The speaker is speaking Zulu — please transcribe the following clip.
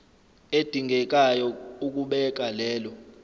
edingekayo ukubeka lelo